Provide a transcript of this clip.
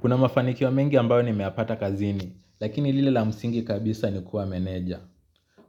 Kuna mafanikio mingi ambayo nimeyapata kazini, lakini lile la msingi kabisa ni kuwa meneja.